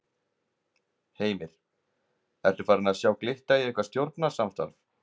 Heimir: Ertu farin að sjá glitta í eitthvað stjórnarsamstarf?